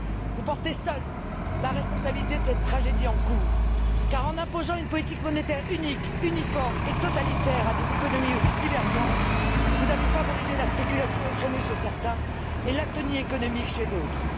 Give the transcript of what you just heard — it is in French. Vous portez seul la responsabilité de cette tragédie en cours, car en imposant une politique monétaire unique, uniforme et totalitaire à des économies aussi divergentes, vous avez favorisé la spéculation effrénée chez certains et l'atonie économique chez d'autres.